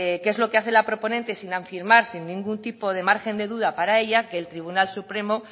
que es lo que hace la proponente sin afirmar sin ningún tipo de margen de duda para ella que el tribunal supremo